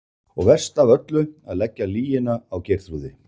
Og verst af öllu að leggja lygina á Geirþrúði.